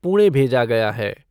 पुणे भेजा गया है।